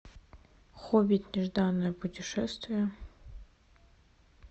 хоббит нежданное путешествие